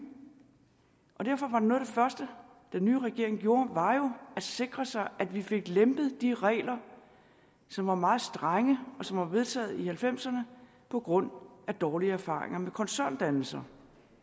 og derfor var noget af det første den nye regering gjorde at sikre sig at vi fik lempet de regler som var meget strenge og som var vedtaget i nitten halvfemserne på grund af dårlige erfaringer med koncerndannelser